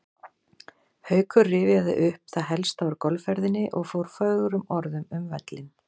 Haukur rifjaði upp það helsta úr golfferðinni og fór fögrum orðum um völlinn.